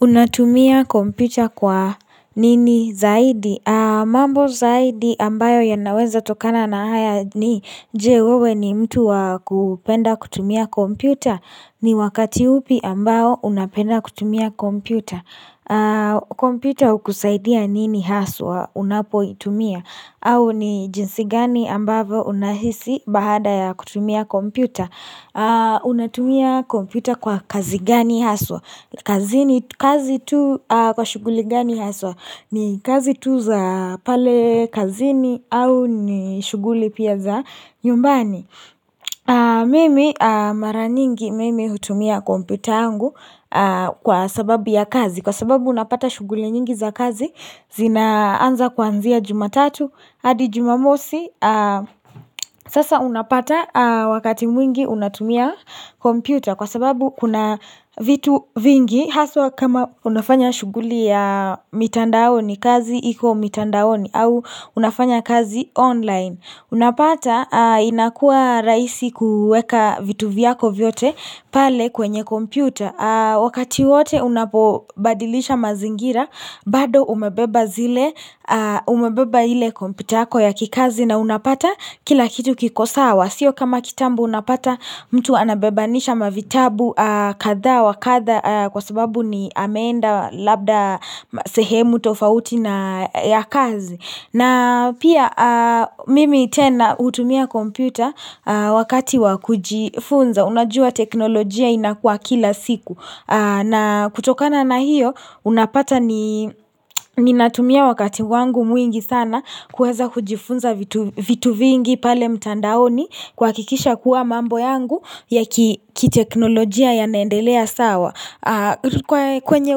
Unatumia kompita kwa nini zaidi? Aaam. Mambo zaidi ambayo yanaweza tokana na haya ni, je? Wewe ni mtu wakupenda kutumia kompyuta. Ni wakati upi ambayo unapenda kutumia kompyuta?, Aa Kompita ukusaidia nini haswa unapo itumia? Au ni jinsi gani ambatho unahisi bahada ya kutumia kompyuta? Aau Unatumia kompita kwa kazi gani haswa? Kazini kazi tu kwa shuguli gani haswa?, Ni kazi tu za pale kazini au ni shughuli pia za nyumbani? Mimi mara nyingi mimi hutumia kompita angu, kwa sababu ya kazi, Kwa sababu unapata shughuli nyingi za kazi zinaanza kwanzia jumatatu hadi jumamosi sasa unapata wakati mwingi unatumia kompyuta Kwa sababu kuna vitu vingi haswa kama unafanya shuguli ya mitandaoni kazi iko mitandaoni au unafanya kazi online, Unapata inakua rahisi kuweka vitu vyako vyote pale kwenye kompyuta Wakati wote unapobadilisha mazingira bado umebeba zile umebeba ile kompitako ya kikazi na unapata kila kitu kiko sawa, sio kama kitambo unapata mtu anabebanisha mavitabu katha wakatha kwa sababu ni ameenda labda sehemu tofauti na ya kazi na pia mimi tena hutumia kompyuta wakati wakujifunza unajua teknolojia inakua kila siku na kutokana na hiyo unapata ni msweeh ni natumia wakati wangu mwingi sana, kuweza kujifunza vitu vitu vingi pale mtandaoni, Kwa kikisha kuwa mambo yangu ya kiteknolojia ya naendelea sawa Aah rikwe kwenye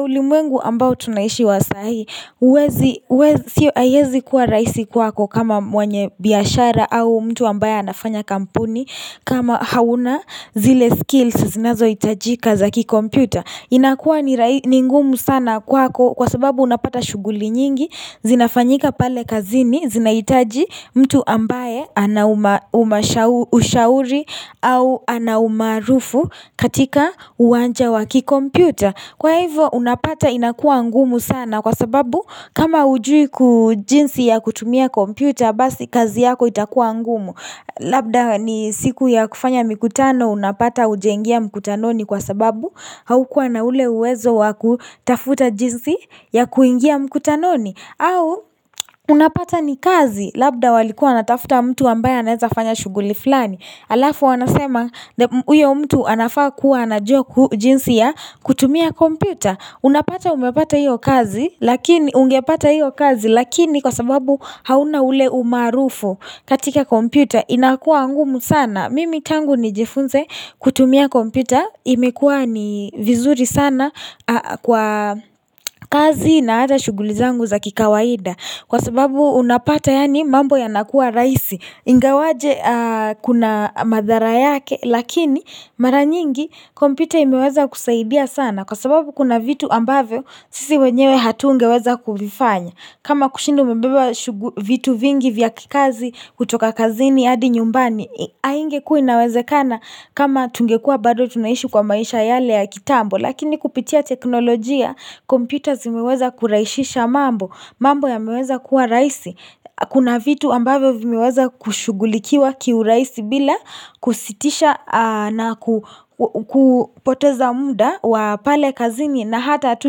ulimwengu ambao tunaishi wa sai, huwezi huwez Sio haiezi kuwa rahisi kwako kama mwenye biyashara au mtu ambaye anafanya kampuni kama hauna zile skills zinazo hitajika zaki kompyuta, inakuwa rahi ni ngumu sana kwako kwa sababu unapata shuguli nyingi zinafanyika pale kazini zinahitaji mtu ambaye ana uma uma ushauri au ana umaarufu katika uwanja waki kompyuta Kwa hivyo unapata inakua ngumu sana kwa sababu kama ujui kujinsi ya kutumia kompyuta basi kazi yako itakua ngumu, Labda ni siku ya kufanya mikutano unapata hujaingia mkutanoni kwa sababu haukua na ule uwezo waku tafuta jinsi ya kuingia mkutanoni au unapata ni kazi labda walikuwa wanatafuta mtu ambaye naeza fanya shuguli fulani Alafu wanasema, uyo mtu anafaa kuwa anajua ku jinsi ya kutumia kompita, Unapata umepata hiyo kazi lakini ungepata hiyo kazi lakini kwa sababu hauna ule umaarufu katika kompyuta inakua ngumu sana mimi tangu nijifunze kutumia kompyuta imekua nii vizuri sana Ah kwa kazi na hata shuguli zangu za kikawaida kwa sababu unapata yani mambo yanakua raisi ingawaje kuna madhara yake lakini mara nyingi kompyuta imeweza kusaidia sana kwa sababu kuna vitu ambavo sisi wenyewe hatunge weza kuvifanya kama kushinda umebeba shugu vitu vingi vya kikazi kutoka kazini adi nyumbani, Hi haingekua inawezekana kama tungekua bado tunaishi kwa maisha yale ya kitambo lakini kupitia teknolojia kompyuta zimeweza kuraihishisha mambo, mambo ya meweza kuwa raisi, Kuna vitu ambavo vimeweza kushugulikiwa kiu rahisi bila kusitisha naku kupoteza mda wa pale kazini na hata tu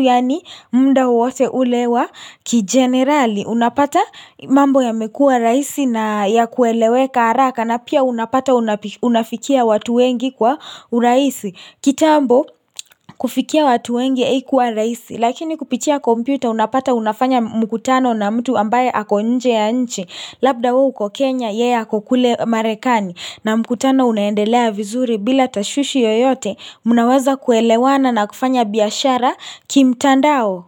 yani munda uwote ule wa kijenerali Unapata mambo yamekua rahisi na ya kueleweka araka na pia unapata unapi unafikia watu wengi kwa uraisi kitambo, kufikia watu wengi haikuwa rahisi, Lakini kupitia komputa unapata unafanya mukutano na mtu ambaye ako nje ya nchi Labda we uko kenya yeye ako kule marekani, na mkutano unaendelea vizuri bila tashwishi yoyote, Mnaweza kuelewana na kufanya biyashara kimtandao.